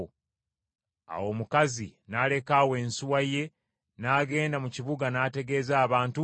Awo omukazi n’aleka awo ensuwa ye n’agenda mu kibuga n’ategeeza abantu nti,